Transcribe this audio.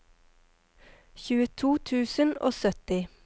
tjueto tusen og sytti